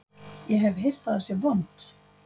Ég hef heyrt að það sé vont